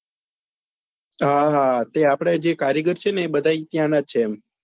હા હા તે આપડા જે કારીગર છે ને એ બધા અર ત્નાયાં ના જ છે એમ